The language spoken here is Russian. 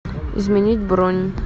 изменить бронь